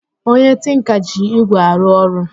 Onye tinka ji ígwè arụ ọrụ